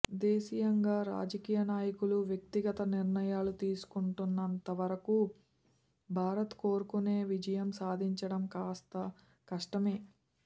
దేశీయంగా రాజకీయ నాయకులు వ్యక్తిగత నిర్ణయాలు తీసుకుంటున్నంత వరకు భారత్ కోరుకేనే విజయం సాధించడం కాస్త కష్టమే